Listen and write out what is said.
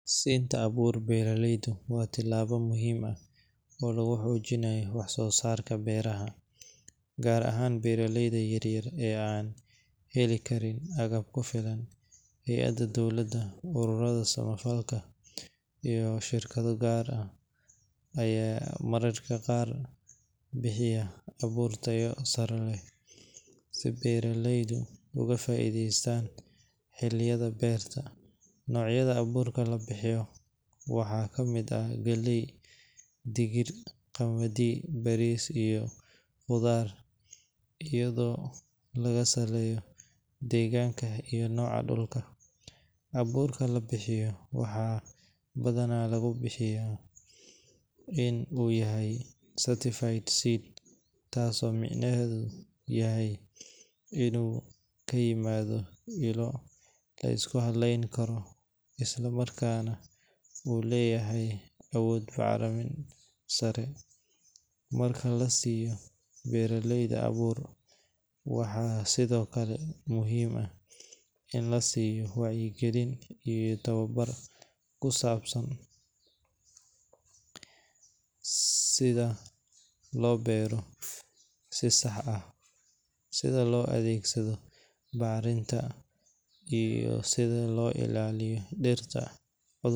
Siinta abuur beeraleyda waa tallaabo muhiim ah oo lagu xoojinayo wax-soo-saarka beeraha, gaar ahaan beeraleyda yaryar ee aan heli karin agab ku filan. Hay’adaha dowladda, ururada samafalka, iyo shirkado gaar ah ayaa mararka qaar bixiya abuur tayo sare leh si beeraleydu uga faa’iideystaan xilliyada beerta. Noocyada abuurka la bixiyo waxaa ka mid ah galley, digir, qamadi, bariis iyo khudaar, iyadoo lagu saleeyo deegaanka iyo nooca dhulka. Abuurka la bixiyo waxaa badanaa lagu hubiyaa in uu yahay certified seed, taasoo micnaheedu yahay inuu ka yimaado ilo la isku halayn karo isla markaana uu leeyahay awood bacrimin sare. Marka la siiyo beeraleyda abuur, waxaa sidoo kale muhiim ah in la siiyo wacyigelin iyo tababar ku saabsan sida loo beero si sax ah, sida loo adeegsado bacriminta, iyo sida loo ilaaliyo dhirta.